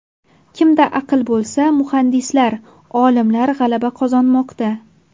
Kimda aql bo‘lsa – muhandislar, olimlar g‘alaba qozonmoqda.